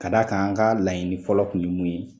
Ka da kan an ka laɲini fɔlɔ kun ye mun ye